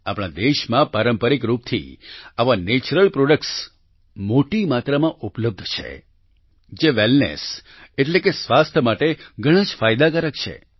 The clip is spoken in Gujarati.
આપણા દેશમાં પારંપરિક રૂપથી આવા નેચરલ પ્રોડક્ટ્સ મોટી માત્રામાં ઉપલબ્ધ છે જે વેલનેસ એટલે કે સ્વાસ્થ્ય માટે ઘણાં જ ફાયદાકારક છે